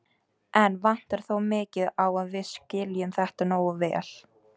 Enn vantar þó mikið á að við skiljum þetta nógu vel.